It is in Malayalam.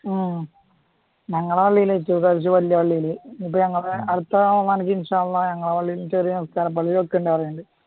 ഉം ഞങ്ങളുടെ വല്യ പള്ളിയില് വെച്ചു ഇപ്പൊ ഞങ്ങടെ ഇൻഷാ അള്ളാ ഞങളുടെ പള്ളിയില് ചെറിയ നിസ്കാര പള്ളിയിലും ഒക്കെ ഉണ്ടാവാറുണ്ട്